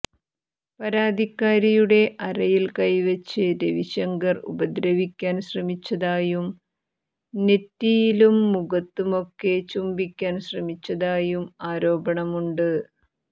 പരാതിക്കാരിയുടെ അരയിൽ കൈവച്ച് രവിശങ്കർ ഉപദ്രവിക്കാൻ ശ്രമിച്ചതായും നെറ്റിയിലും മുഖത്തുമൊക്കെ ചുംബിക്കാൻ ശ്രമിച്ചതായും ആരോപണമുണ്ട്